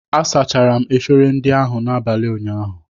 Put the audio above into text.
A sachara m efere ndị ahụ n’abalị ụnyaahụ